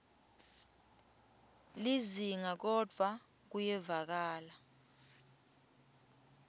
lizinga kodvwa kuyevakala